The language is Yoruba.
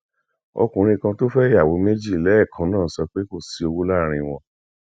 ọkùnrin kan tó fẹ ìyàwó méje lẹẹkan náà sọ pé kò sí òwú láàrin wọn